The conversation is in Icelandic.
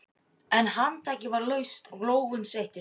En handtakið var laust og lófinn sveittur.